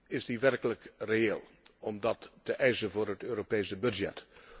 Is het werkelijk reëel om die te eisen voor het Europese budget?